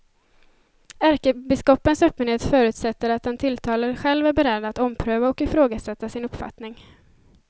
Ärkebiskopens öppenhet förutsätter att den tilltalade själv är beredd att ompröva och ifrågasätta sin uppfattning.